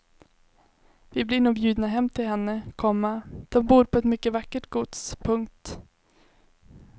Vi blir nog bjudna hem till henne, komma de bor på ett mycket vackert gods. punkt